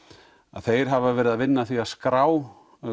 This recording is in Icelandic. þeir hafa verið að vinna í því að skrá